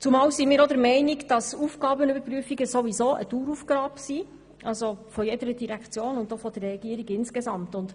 Zudem sind wir der Meinung, dass Aufgabenprüfungen eine Daueraufgabe jeder Direktion und auch der Regierung als Ganzes sind.